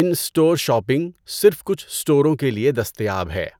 اِن store shopping صرف کچھ اسٹوروں کے لیے دستیاب ہے۔